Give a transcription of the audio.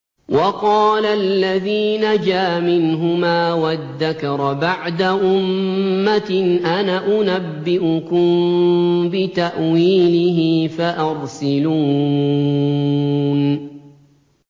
وَقَالَ الَّذِي نَجَا مِنْهُمَا وَادَّكَرَ بَعْدَ أُمَّةٍ أَنَا أُنَبِّئُكُم بِتَأْوِيلِهِ فَأَرْسِلُونِ